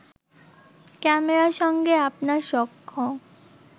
ক্যামেরার সঙ্গে আপনার সখ্য